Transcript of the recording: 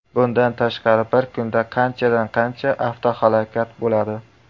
Bundan tashqari, bir kunda qanchadan qancha avtohalokat bo‘ladi.